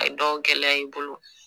A dɔw gɛlɛya i bolo